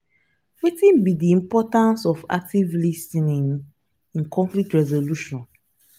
wetin be di importance of active lis ten ing in conflict resolution?